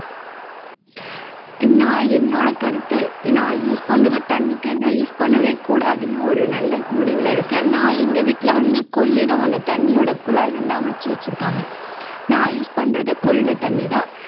நான் என்னோட கருத்து நான் use பண்றது தண்ணி cane ஏ use பண்ணவே கூடாதுன்னு ஒரு நல்ல முடிவுல இருக்கேன் நான் எங்க வீட்ல வந்து கொள்ளிடம் அந்த தண்ணியோட குழாய் வந்து அமைச்சு வச்சுருக்காங்க நான் use பண்றது கொள்ளிட தண்ணிதான்